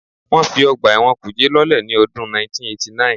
Wọ́n fi ọgbà ẹ̀wọ̀n kùjé lọ́lẹ̀ ní ọdún 1989